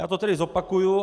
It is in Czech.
Já to tedy zopakuji.